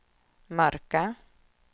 mörka